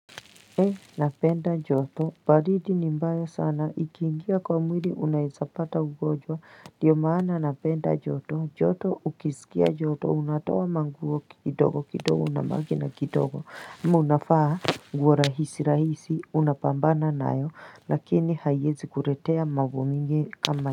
Ee napenda joto baridi ni mbaya sana ikiingia kwa mwiri unaezapata ugojwa diyo maana napenda joto joto ukisikia joto unatoa manguo kidogo kidogo unabaki na kidogo ama unafaa nguo rahisi rahisi unapambana nayo lakini haiezi kuretea mambo mingi kama.